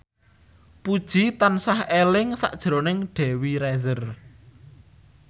Puji tansah eling sakjroning Dewi Rezer